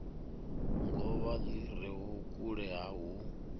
govha li re vhukule hu